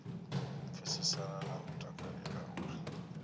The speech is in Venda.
pfesesana na u takalela uri